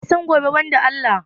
Waya san gobe ban da Allah?